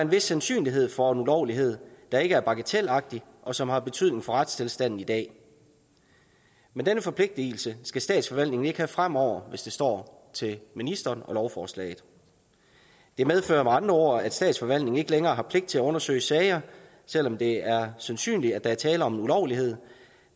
vis sandsynlighed for en ulovlighed der ikke er bagatelagtig og som har betydning for retstilstanden i dag men denne forpligtelse skal statsforvaltningen ikke have fremover hvis det står til ministeren og lovforslaget det medfører med andre ord at statsforvaltningen ikke længere har pligt til at undersøge sager selv om det er sandsynligt at der er tale om en ulovlighed